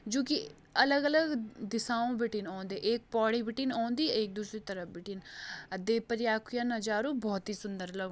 जुकी अलग-अलग दिशाओं बिटिन औंदी एक पौड़ी बिटिन औंदी एक दूसरी तरफ बिटिन आ देवप्रयाग कु या नाजारु बहौत ही सुन्दर लग --